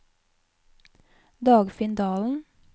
Dagfinn Dahlen